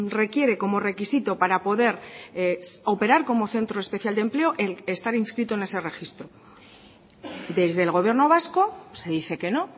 requiere como requisito para poder es operar como centro especial de empleo el estar inscrito en ese registro desde el gobierno vasco se dice que no